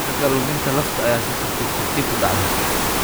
Ragga, luminta lafta ayaa si tartiib tartiib ah u dhacda.